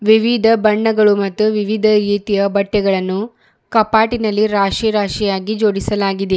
ವಿವಿಧ ಬಣ್ಣಗಳು ಮತ್ತು ವಿವಿಧ ರೀತಿಯ ಬಟ್ಟೆಗಳನ್ನು ಕಪಾಟಿನಲ್ಲಿ ರಾಶಿ ರಾಶಿಯಾಗಿ ಜೋಡಿಸಲಾಗಿದೆ.